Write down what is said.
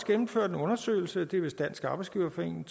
gennemført en undersøgelse det er vist dansk arbejdsgiverforening